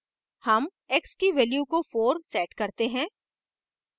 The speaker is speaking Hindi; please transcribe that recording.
हम x की value को 4 set करते हैं